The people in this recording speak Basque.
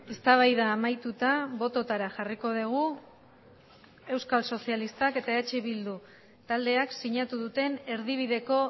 eztabaida amaituta bototara jarriko dugu euskal sozialistak eta eh bildu taldeak sinatu duten erdibideko